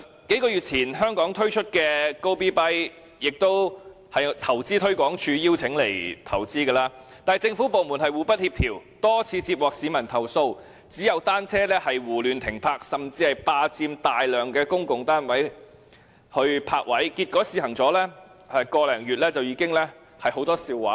數月前在香港推出的共享單車平台 "Gobee.bike" 是投資推廣署邀請來港投資的，但是，政府部門互不協調，多次接獲市民投訴，單車胡亂停泊，甚至霸佔大量公共泊位。結果，試行了1個多月，已鬧出很多笑話。